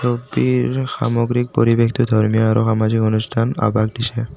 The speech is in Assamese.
টিৰ সামগ্ৰীক পৰিৱেশটো ধৰ্মীয় আৰু সামাজিক অনুষ্ঠান আভাষ দিছে।